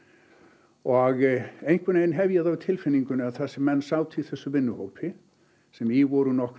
og einhvern veginn hef ég það á tilfinningu að þar sem menn sátu í þessum vinnuhópi sem í voru nokkrir